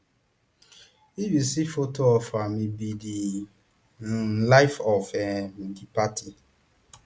if you see fotos of am e be di um life of um di party